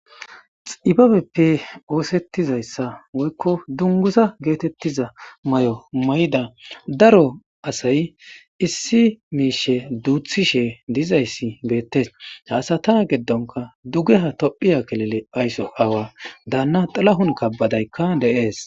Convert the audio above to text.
xibabeppe oosettizayssa woykko dungusa geetettiza may7o may7da daro asay issi miishe duuthishe dizayssi beettes haasata geddonka duge ha tophiya kelele aysso aawa daanna dalahun kabbadaykka deees